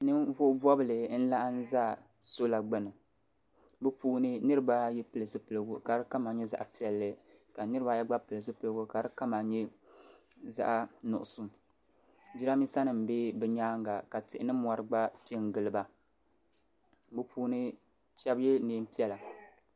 ninvuɣ' bɔbili n-laɣim zaya sɔla gbuni bɛ puuni niriba ayi pili zupiligu ka di kama nyɛ zaɣ' piɛlli ka niriba gba pili zupiligu kama nyɛ zaɣ' nuɣisɔ jiraaminsa nima be bɛ nyaaga ka tihi ni mɔri gba pe n-gili ba bɛ puuni shɛba ye neen' piɛla.